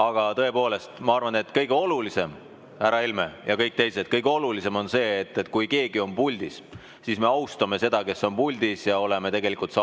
Aga tõepoolest, ma arvan, et kõige olulisem, härra Helme ja kõik teised, kõige olulisem on see, et kui keegi on puldis, siis me austame seda, kes on puldis, ja oleme saalis tasa.